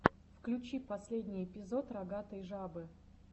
включи последний эпизод рогатой жабы